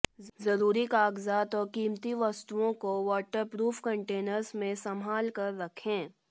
जरूरी कागजात और कीमती वस्तुओं को वॉटर प्रूफ कंटेनर्स में संभालकर रखें